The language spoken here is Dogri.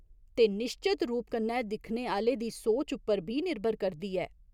ते निश्चत रूप कन्नै दिक्खने आह्‌ले दी सोच उप्पर बी निर्भर करदी ऐ।